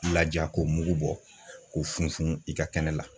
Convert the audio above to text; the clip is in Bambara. Laja k'o mugu bɔ k'o funfun i ka kɛnɛ la.